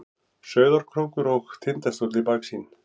Sauðárkrókur og Tindastóll í baksýn.